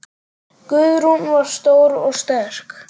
Guðrún var stór og sterk.